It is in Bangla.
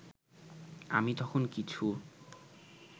আমি তখন কিছু